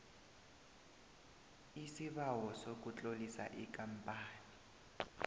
isibawo sokutlolisa ikampani